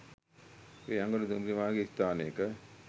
වේයන්ගොඩ දුම්රිය මාර්ගයේ ස්ථානයක